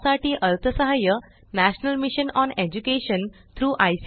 यासाठी अर्थसहाय्य national mission on education through I